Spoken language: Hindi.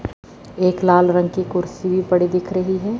एक लाल रंग की कुर्सी भी पड़ी दिख रही है।